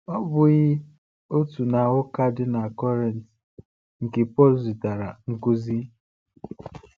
Ọ̀ bụ́ghị otu na ụka dị na Kọrịnt nke Pọl zịtara nkuzi?